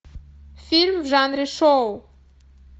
фильм в жанре шоу